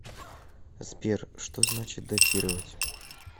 сбер что значит дотировать